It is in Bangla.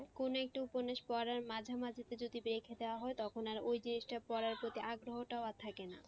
কোন একটা উপন্যাস পড়ার মাঝা মাঝিতে মাঝে যদি রেখে দেওয়া হয় তখন আর ওই জিনিসটা পড়ার প্রতি আগ্রহটাও আর থাকে না।